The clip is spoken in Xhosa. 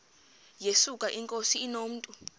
yesuka inkosi inomntu